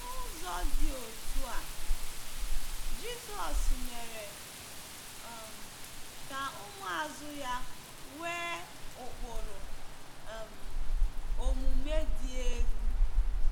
N’ụzọ dị otú a, Jizọs mere um ka ụmụazụ ya nwee ụkpụrụ um omume dị elu.